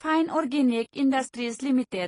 fine organic industries limited